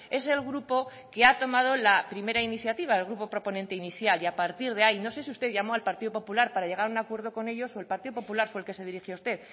es el grupo que ha tomado la primera iniciativa el grupo proponente inicial y a partir de ahí no sé si usted llamó al partido popular para llegar a un acuerdo con ellos o el partido popular fue el que se dirigió a usted